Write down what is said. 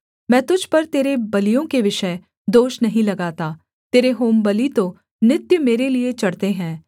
मैं तुझ पर तेरे बलियों के विषय दोष नहीं लगाता तेरे होमबलि तो नित्य मेरे लिये चढ़ते हैं